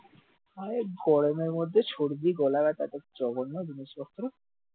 আরে গরমের মধ্যে সর্দি গলা ব্যাথা একটা জঘন্য জিনিস বলতো,